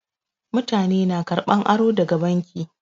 Mutane na karɓan aro daga banki.